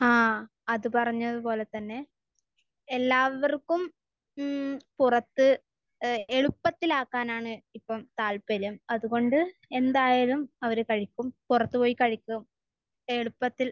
ആ. അത് പറഞ്ഞത് പോലെ തന്നെ. എല്ലാവർക്കും മ്മ് പുറത്ത് എഹ് എളുപ്പത്തിൽ ആക്കാനാണ് ഇപ്പോൾ താല്പര്യം. അത്കൊണ്ട് എന്തായാലും അവര് കഴിക്കും. പുറത്ത് പോയി കഴിക്കും. എളുപ്പത്തിൽ.